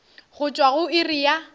go tšwa go iri ya